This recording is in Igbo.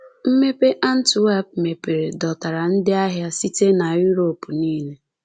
Mmepe Antwerp mepere dọtara ndị ahịa site na Europe nile.